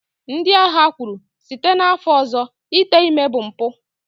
ndị agha kwuru, site n'afọ ọzọ ite ime bụ mpụ